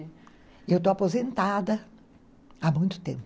Eu estou aposentada há muito tempo.